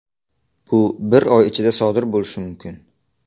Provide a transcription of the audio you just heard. Bu bir oy ichida sodir bo‘lishi mumkin.